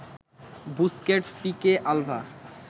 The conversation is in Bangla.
Busquets, Pique, Alva